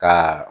Ka